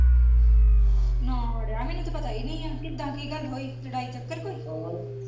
ਨਾ ਅੜਿਆ ਮੈਨੂੰ ਤੇ ਪਤਾ ਹੀ ਨਹੀਂ ਆ, ਕਿੱਦਾਂ ਕਿ ਗੱਲ ਹੋਈ ਲੜਾਈ ਚੱਕਰ ਕੋਇ?